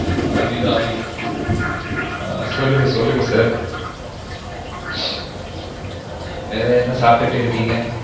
அபிராமி ஆ சொல்லுங்க சொல்லுங்க sir வேர என்ன சாப்ட்டு இருக்கிங்க